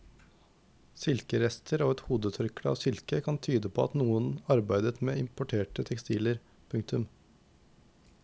Silkerester og et hodetørkle av silke kan tyde på at noen arbeidet med importerte tekstiler. punktum